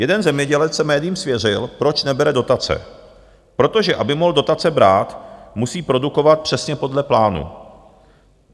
Jeden zemědělec se médiím svěřil, proč nebere dotace - protože aby mohl dotace brát, musí produkovat přesně podle plánu.